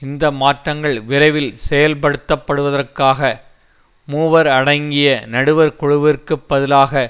இந்த மாற்றங்கள் விரைவில் செயல்படுத்தப்படுவதற்காக மூவர் அடங்கிய நடுவர் குழுவிற்குப்பதிலாக